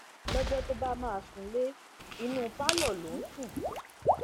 lọjọ tó bá máa súnlẹ inú pálọ ló ń sùn